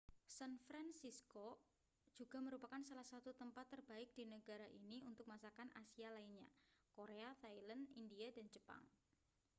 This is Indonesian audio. san francisco juga merupakan salah satu tempat terbaik di negara ini untuk masakan asia lainnya korea thailand india dan jepang